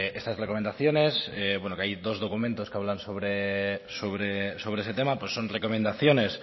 estas recomendaciones que hay dos documentos que hablan sobre ese tema son recomendaciones